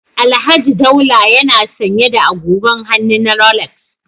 Alhaji Daula yana sanye da agogon hannu na Rolex